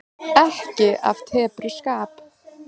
Ekki af tepruskap.